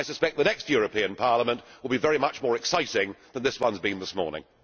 I suspect the next European Parliament will be very much more exciting than this one has been this morning.